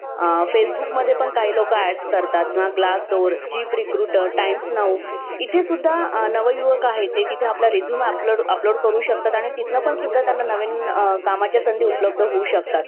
Facebook मध्ये पण काही लोक Ads करतात ना Glass Door , Jeep Recruiter , Times Now इथे सुद्धा नव युवक आहे ते तिथे आपला resume upload upload करू शकतात आणि तिथून पण सुद्धा त्यांना नवीन कामाच्या संधी उपलब्ध होऊ शकतात.